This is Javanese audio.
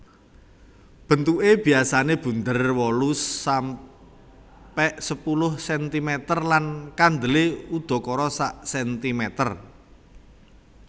Bentuke biasane bunder wolu sampe sepuluh sentimeter lan kandele udakara sak sentimeter